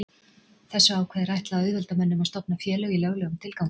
þessu ákvæði er ætlað að auðvelda mönnum að stofna félög í löglegum tilgangi